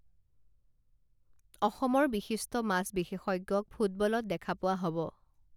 অসমৰ বিশিষ্ট মাছ বিশেষজ্ঞক ফুটবলত দেখা পোৱা হব